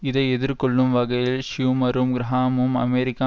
இதை எதிர்கொள்ளும் வகையில் ஷ்யூமரும் கிரஹாமும் அமெரிக்க